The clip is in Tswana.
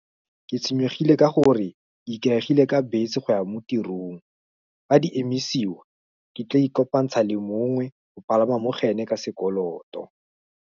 Ke tshwenyegile ka gore, ikaegile ka betse go ya mo tirong, fa di emisiwa ke tla ikopantsha le mongwe, go palama mogoene ka sekoloto.